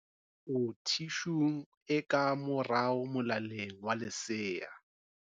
O thishung e ka morao molaleng wa lesea.